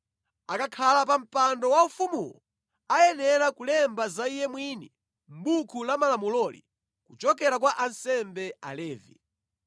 Akakhala pa mpando waufumuwo, ayenera kulemba za iye mwini mʼbuku la malamuloli, kuchokera kwa ansembe Alevi.